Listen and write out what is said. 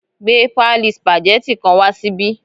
Gbé páálí spageti kan wá síbí